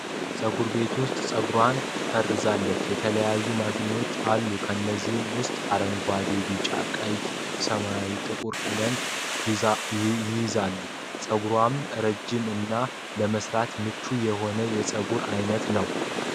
ፀጉር ቤት ዉስጥ ፀጉሯን ፈርዛለች ።የተለያዩ ማሽኖችም አሉ። ከነዚህም ዉስጥ አረንጓዴ፣ ቢጫ፣ ቀይ፣ ሰማያዊ፣ ጥቁር ቀለማትን ይይዛሉ። ፀጉሩም ረዥም እና ለመስራት ምቹ የሆነ የፀጉር አይነት ነው።